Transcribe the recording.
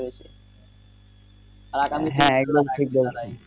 হ্যাঁ এগুলা ঠিক বলছেন